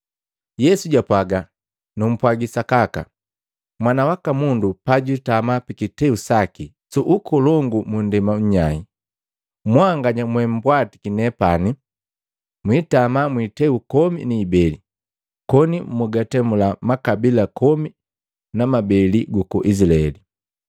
Yesu jwapwaga, “Numpwagi sakaka, Mwana waka Mundu pajwiitama pikiteu saki su ukolongu mu nndema nnyai. Mwanganya mwembwatiki nepani, mwiitama mwiiteu komi ni ibeli, koni mukatemula makabila komi ni ibeli guku Izilaeli.